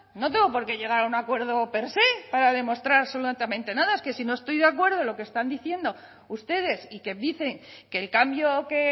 no tengo porqué llegar a un acuerdo per sé para demostrar absolutamente nada es que si no estoy de acuerdo en lo que están diciendo ustedes y que dicen que el cambio que